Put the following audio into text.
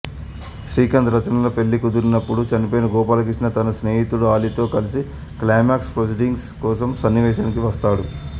శ్రీకాంత్ రచనల పెళ్ళి కుదిరినపుడు చనిపోయిన గోపాలకృష్ణ తన స్నేహితుడు అలీతో కలిసి క్లైమాక్స్ ప్రొసీడింగ్స్ కోసం సన్నివేశానికి వస్తాడు